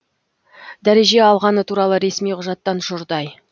дәреже алғаны туралы ресми құжаттан жұрдай